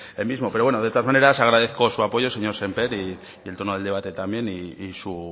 él mismo de todas maneras agradezco su apoyo señor sémper el tono del debate también y